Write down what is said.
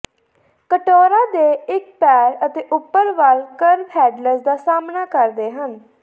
ਕਟੋਰਾ ਦੇ ਇੱਕ ਪੈਰ ਅਤੇ ਉੱਪਰ ਵੱਲ ਕਰਵ ਹੈਡਲਜ਼ ਦਾ ਸਾਹਮਣਾ ਕਰਦੇ ਹਨ